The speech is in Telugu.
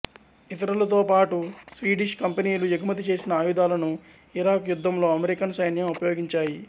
ఇతరులతో పాటు స్వీడిష్ కంపెనీలు ఎగుమతి చేసిన ఆయుధాలను ఇరాక్ యుద్ధంలో అమెరికన్ సైన్యం ఉపయోగించాయి